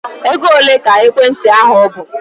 Ego ole ka ekwentị ahụ bụ?